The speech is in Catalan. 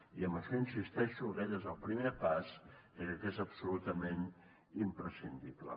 i en això hi insisteixo aquest és el primer pas que crec que és absolutament imprescindible